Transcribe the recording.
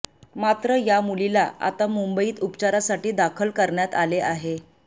मात्र या मुलीला आता मुंबईत उपचारासाठी दाखल करण्यात आले आहे